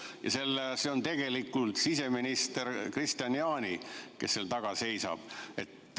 Ja see on tegelikult siseminister Kristian Jaani, kes seal taga seisab.